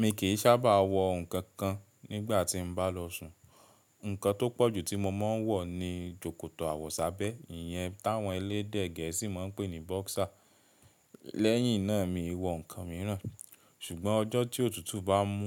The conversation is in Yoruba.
Mi kì í sábà wọ nǹkan kan nígbà tí mo bá lọ sùn. Ǹkan tó pọ̀jù tí mo máa ń wọ ni sòkòtò àwọ̀sábẹ́, ìyẹn táwọn elédè gẹ̀ẹ́sì máa ń pè ní boxer. Lẹ́yìn náà mii wọ ǹkan míràn, ṣùgbọ́n ọjọ́ tí òtútù bá mú,